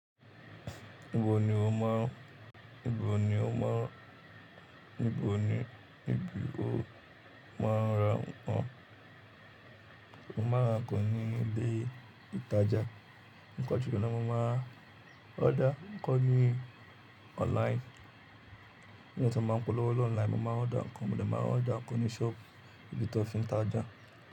Níbo ni o máa, níbo ni o máa, níbo ni, níbó máa ń ra nkan? Oma nra nkan nínu ilé ìtajà. Níkan jùlọ mo máa order ikọ́n ní online. Bi eyan ti máa ń polówó online, mo máa ń order nǹkan, mo dẹ máa order nǹkan ní shop ibi tí wọn ti ń tajà.